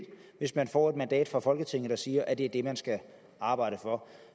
hvis man får et mandat fra folketinget der siger at det er det man skal arbejde for